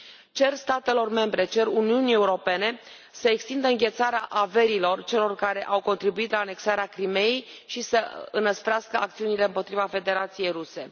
Cer statelor membre, cer Uniunii Europene să extindă înghețarea averilor celor care au contribuit la anexarea Crimeii și să înăsprească acțiunile împotriva Federației Ruse.